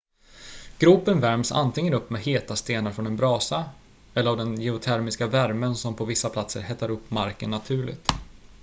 gropen värms antingen upp med heta stenar från en brasa eller av den geotermiska värmen som på vissa platser hettar upp marken naturligt